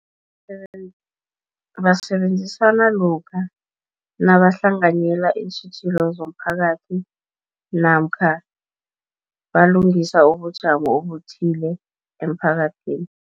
Basebenzisana lokha nabahlanganyela iintjhijilo zomphakathi, namkha balungisa ubujamo obuthile emphakathini.